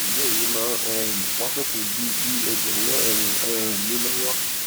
ǹjẹ èyí máa um wá sópin bí bí ẹ jọwọ ẹ ràn um mí lọwọ